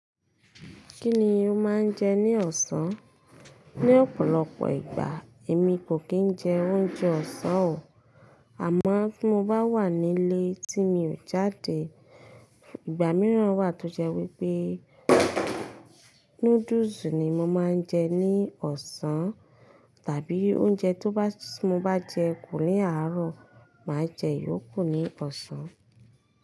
Kí ni ó máa ń je ní òsán ni ọ̀pọ̀lọpọ̀ ìgbà, èmi kò kí n jẹ oúnjẹ ọ̀sán o. Àmọ́ tí mo bá wà nílé, tí mi ò jáde, ìgbà mìíràn wà tó jẹ́ wípé noodles ni mo máa ń jẹ ní ọ̀sán. Tàbí oúnjẹ tó bá tí mo bá jẹ kò ní àárọ̀, màá jẹ yóò kù ní ọ̀sán.